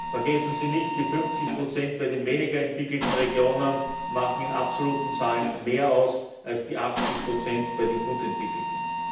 Vergessen Sie nicht Die 50 bei den weniger entwickelten Regionen machen in absoluten Zahlen mehr aus als die 80 bei den gut entwickelten.